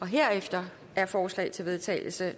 herefter er forslag til vedtagelse